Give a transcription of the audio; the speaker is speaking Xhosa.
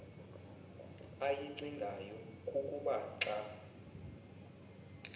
ayicingayo kukuba xa